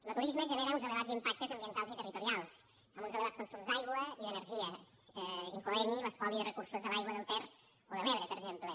lo turisme genera uns elevats impactes ambientals i territorials amb uns elevats consums d’aigua i d’energia incloent hi l’espoli de recursos de l’aigua del ter o de l’ebre per exemple